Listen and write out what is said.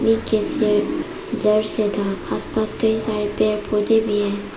आसपास कई सारे पेड़ पौधे भी है।